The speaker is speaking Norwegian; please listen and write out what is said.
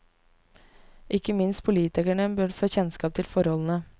Ikke minst politikerne bør få kjennskap til forholdene.